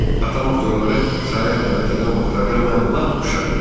Atam aktyorları saraya dəvət edən vaxtlarda mən lap uşaq idim.